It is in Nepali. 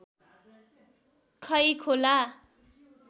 खै खोला